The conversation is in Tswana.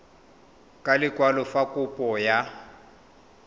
ka lekwalo fa kopo ya